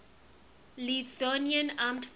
lithuanian armed forces